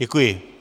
Děkuji.